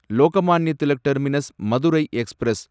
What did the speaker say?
Lokmanya Tilak terminus Madurai express